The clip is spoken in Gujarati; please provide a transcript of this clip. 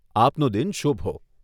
આપનો દિન શુભ હો.